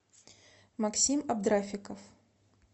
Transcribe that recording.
максим абдрафиков